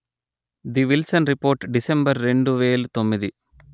the Nielsen report December రెండు వేలు తొమ్మిది